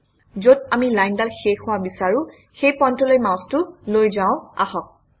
যত আমি লাইনডাল শেষ হোৱা বিচাৰোঁ সেই পইণ্টলৈ মাউচটো লৈ যাওঁ আহক